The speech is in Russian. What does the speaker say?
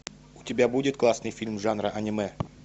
у тебя будет классный фильм жанра аниме